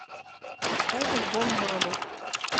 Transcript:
поставь альбом мама